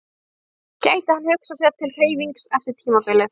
Gæti hann hugsað sér til hreyfings eftir tímabilið?